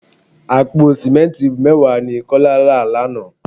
Àpò simẹnti mẹ́wàá ni Kọ́lá rà lánàá.